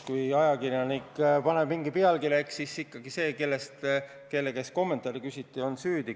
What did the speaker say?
Kui ajakirjanik paneb mingi pealkirja, eks siis ikkagi see, kelle käest kommentaari küsiti, on süüdi.